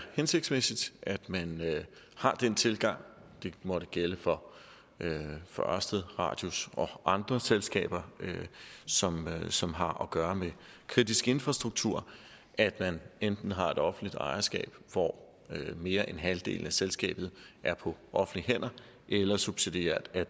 hensigtsmæssigt at man har den tilgang det måtte gælde for for ørsted radius og andre selskaber som som har at gøre med kritisk infrastruktur at man enten har et offentligt ejerskab hvor mere end halvdelen af selskabet er på offentlige hænder eller subsidiært at